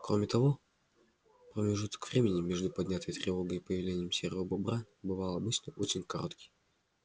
кроме того как он убедился на опыте промежуток времени между поднятой тревогой и появлением серого бобра бывал обычно очень короткий